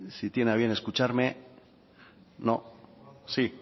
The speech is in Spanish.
si tiene a bien escucharme no sí